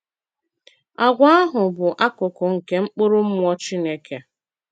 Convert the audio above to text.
Àgwà ahụ bụ̀ akụkụ̀ nke mkpụrụ Mmụọ Chineke.